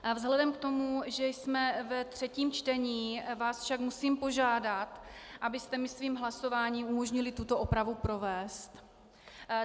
Vzhledem k tomu, že jsme ve třetím čtení, vás však musím požádat, abyste mi svým hlasováním umožnili tuto opravu provést.